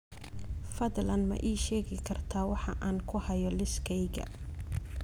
Fadlan ma ii sheegi kartaa waxa aan ku hayo liiskayga